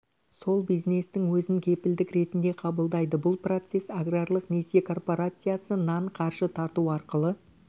сол бизнестің өзін кепілдік ретінде қабылдайды бұл процесс аграрлық несие корпорациясы нан қаржы тарту арқылы